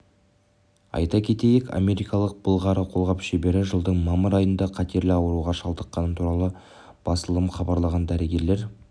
айта кетейік америкалық былғары қолғап шебері жылдың мамыр айында қатерлі ауруға шалдыққаны туралы басылымы хабарлаған дәрігерлер